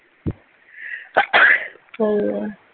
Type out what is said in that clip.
ਸਹੀ ਆ